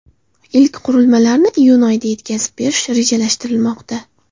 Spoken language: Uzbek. Ilk qurilmalarni iyun oyida yetkazib berish rejalashtirilmoqda.